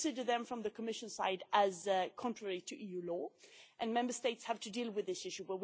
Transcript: We consider them, from the Commission side, as contrary to EU law, and Member States have to deal with this issue.